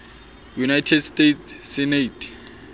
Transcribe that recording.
united states senate